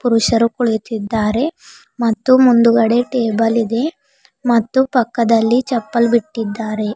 ಪುರುಷರು ಕುಳಿತಿದ್ದಾರೆ ಮತ್ತು ಮುಂದುಗಡೆ ಟೇಬಲ್ ಇದೆ ಮತ್ತು ಪಕ್ಕದಲ್ಲಿ ಚಪ್ಪಲ್ ಬಿಟ್ಟಿದ್ದಾರೆ.